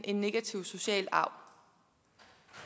en negativ social arv